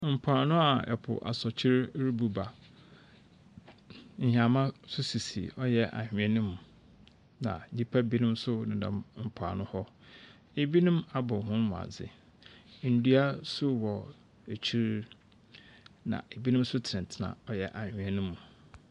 Mpoano a ɛpo asrɔkyee rebu ba. Nnyama nso sisi ɔyɛ anhwea no mu na nnipa binom nso nenam mpoano hɔ. Ebinom abɔ wɔn mu adze, ndua nso wɔ akyir na ebinom nso tenatena ɔyɛ anhwea no mu.